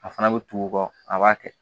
A fana bɛ tugu o kɔ a b'a kɛ